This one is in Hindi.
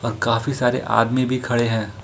काफी सारे आदमी भी खड़े हैं।